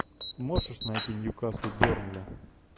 можешь найти ньюкасл бернли